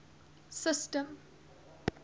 system